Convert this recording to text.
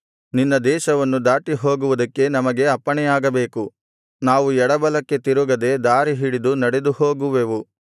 ನಿನ್ನ ದೇಶವನ್ನು ದಾಟಿಹೋಗುವುದಕ್ಕೆ ನಮಗೆ ಅಪ್ಪಣೆಯಾಗಬೇಕು ನಾವು ಎಡಬಲಕ್ಕೆ ತಿರುಗದೆ ದಾರಿಹಿಡಿದು ನಡೆದುಹೋಗುವೆವು